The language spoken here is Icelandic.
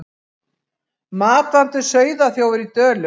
Matvandur sauðaþjófur í Dölum